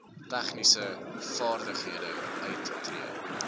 tegniese vaardighede uittree